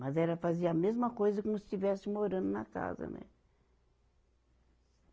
Mas era fazia a mesma coisa como se estivesse morando na casa, né?